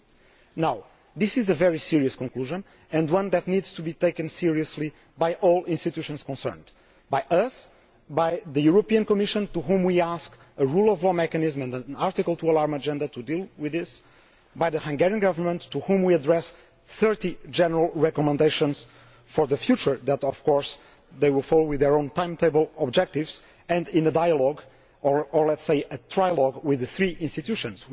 2. This is a very serious conclusion and one that needs to be taken seriously by all institutions concerned by us, by the European Commission, which we ask to provide a rule of law mechanism and an Article 2 alarm agenda to deal with this, and by the Hungarian Government, to whom we address 30 general recommendations for the future that of course they will follow with their own timetable objectives and in a dialogue, or let us say a trialogue, with the three institutions.